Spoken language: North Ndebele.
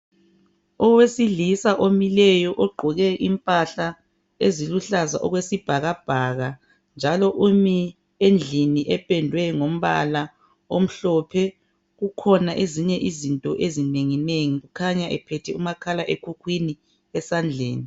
Owesilisa omileyo ogqoke impahla eziluhlaza okwesibhakabhaka njalo umi endlini epedwe ngombala omhlophe kukhona ezinye izinto ezinenginengi kukhanya ephethe umakhala ekukhwini esandleni.